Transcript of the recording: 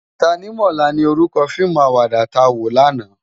Tánimòlá ni órúkò fiimú àwàdá tá wó làná